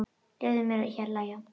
Leyfðu þér að hlæja.